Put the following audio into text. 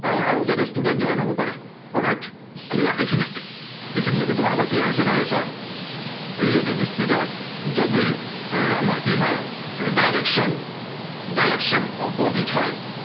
আহ আৰু যাতে student join হব পাৰে। alright, clear এইখিনি। এইখিনলৈকে তোমালোকৰ clear হৈছে নাই চোৱা। relative speed ত যদি আহ আমাৰ কি হয়, এৰ direction direction opposite হয়।